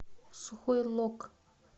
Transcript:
сухой лог